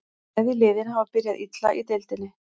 Bæði liðin hafa byrjað illa í deildinni.